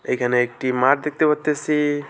এখানে একটি মাঠ দেখতে পারতেসি।